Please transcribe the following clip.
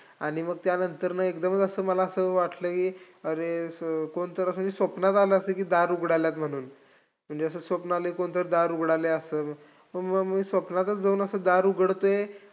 आणि मग त्यानंतरनं एकदमच असं मला असं वाटलंय अरे स कोणीतरी असं स्वप्नात आलंय असं की दार उघडायलायत म्हणून म्हणजे असं स्वप्न आलंय. कोणीतरी दार उघडायला असं, म मी स्वप्नातच जाऊन असं दार उघडतोय.